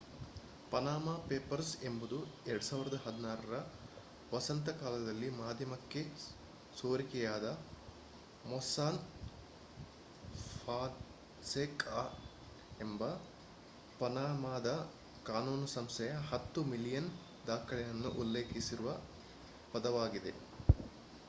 Panama papers ಎಂಬುದು 2016ರ ವಸಂತ ಕಾಲದಲ್ಲಿ ಮಾಧ್ಯಮಕ್ಕೆ ಸೋರಿಕೆಯಾದ ಮೊಸ್ಸಾಕ್ ಫಾನ್ಸೆಕಾ ಎಂಬ ಪನಾಮಾದ ಕಾನೂನು ಸಂಸ್ಥೆಯ 10 ಮಿಲಿಯನ್ ದಾಖಲೆಗಳನ್ನು ಉಲ್ಲೇಖಿಸುವ ಪದವಾಗಿದೆ